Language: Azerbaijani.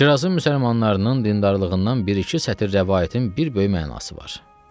Şirazın müsəlmanlarının dindarlığından bir-iki sətir rəvayətin bir böyük mənası var.